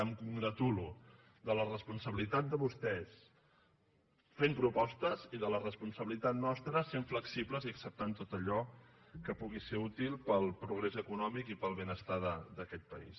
em congratulo de la responsabilitat de vostès fent propostes i de la responsabili·tat nostra sent flexibles i acceptant tot allò que pugui ser útil per al progrés econòmic i per al benestar d’aquest país